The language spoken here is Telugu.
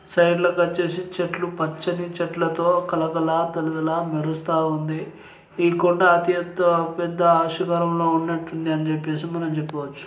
సైడ్ల కి వచ్చేసి చెట్లు పచ్చని చెట్ల తో కళకళ గలగల మెరుస్తుంది. ఈ కొండ అత్యంత పెద్ద కాలం లో ఉన్నట్టుంది. అని చెప్పేసి మనం చెప్పుకోవచ్చు.